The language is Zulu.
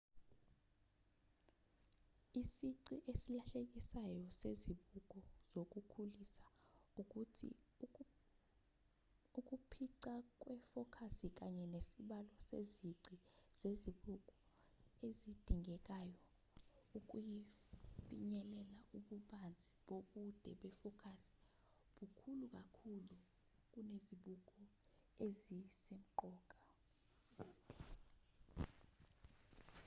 isici esilahlekelisayo sezibuko zokukhulisa ukuthi ukuphica kwefokasi kanye nesibalo sezici zezibuko ezidingekayo ukufinyelela ububanzi bobude befokasi bukhulu kakhulu kunezibuko ezisemqoka